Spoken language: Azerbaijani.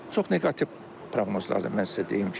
Çox neqativ proqnozlardır, mən sizə deyim ki.